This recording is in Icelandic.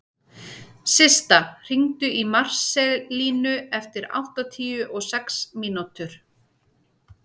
Systa, hringdu í Marselínu eftir áttatíu og sex mínútur.